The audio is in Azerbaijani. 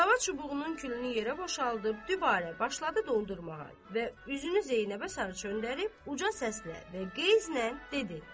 Qılava çubuğunun külünü yerə boşaldıb, dübarə başladı dondurmağa və üzünü Zeynəbə sarı çevirib uca səslə və qeyzlə dedi: